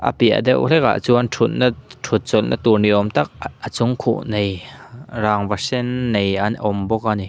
a piah deuh hlek ah chuan thutna thutchawlh natur ni awmtak a chung khuh nei rangva sen nei an awmbawk ani.